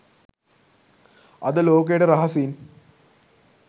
අද ලෝකයට රහසින්